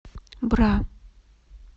бра